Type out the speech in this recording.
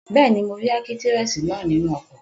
Bẹ́ẹ̀ni, mo rí ákítírẹ́sì náà nínú ọkọ̀